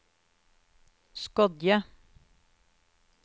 Skodje